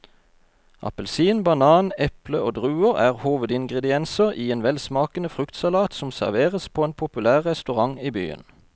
Appelsin, banan, eple og druer er hovedingredienser i en velsmakende fruktsalat som serveres på en populær restaurant i byen.